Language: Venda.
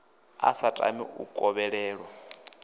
a sa tami u kovhelwa